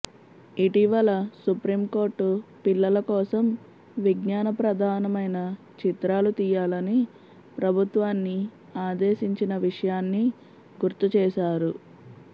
ఇటీవల supreme court పిల్లల కోసం విజ్ఞాన ప్రధానమైన చిత్రాలు తీయాలని ప్రభుత్వాన్ని ఆదేశించిన విషయాన్ని గుర్తు చేశారు